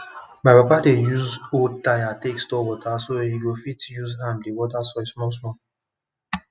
my papa dey use old tire take store water so e go fit use am dey water soil small small